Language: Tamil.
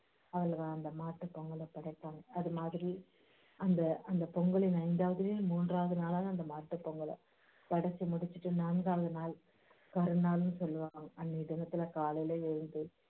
அவங்க அந்த மாட்டுப் பொங்கலை படைப்பாங்க அது மாதிரி அந்த அந்த பொங்கலின் ஐந்தாவதுலேயும் மூன்றாவது நாளான அந்த மாட்டுப் பொங்கல் படைச்சு முடிச்சிட்டு நான்காவது நாள் கரி நாளுன்னு சொல்லுவாங்க அன்னைய தினத்துல காலையில எழுந்து